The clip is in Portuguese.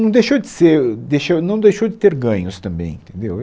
Não deixou de ser, uh, deixou, não deixou de ter ganhos também entendeu eu